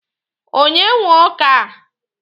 Onye nwe ọka a?